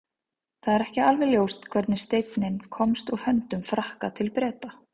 það er ekki alveg ljóst hvernig steinninn komst úr höndum frakka til breta